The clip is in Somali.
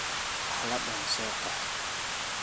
Uwax ladan sooqox .